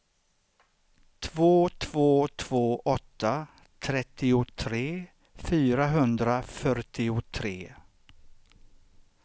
två två två åtta trettiotre fyrahundrafyrtiotre